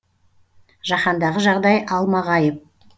жаһандағы жағдай алмағайып